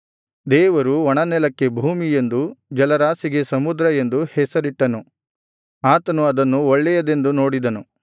ದೇವರು ಒಣನೆಲಕ್ಕೆ ಭೂಮಿ ಎಂದೂ ಜಲರಾಶಿಗೆ ಸಮುದ್ರ ಎಂದೂ ಹೆಸರಿಟ್ಟನು ಆತನು ಅದನ್ನು ಒಳ್ಳೆಯದೆಂದು ನೋಡಿದನು